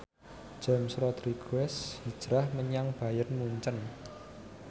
James Rodriguez hijrah menyang Bayern Munchen